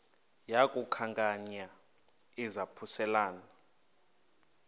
yaku khankanya izaphuselana